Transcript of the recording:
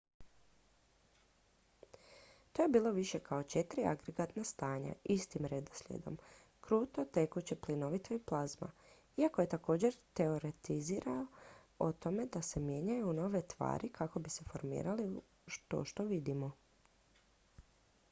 to je bilo više kao četiri agregatna stanja istim redoslijedom: kruto tekuće plinovito i plazma iako je također teoretizirao o tome da se mijenjaju u nove tvari kako bi se formirali u to što vidimo